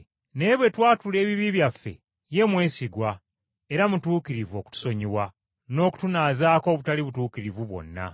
Naye bwe twatula ebibi byaffe, ye mwesigwa era mutuukirivu okutusonyiwa n’okutunaazaako obutali butuukirivu bwonna.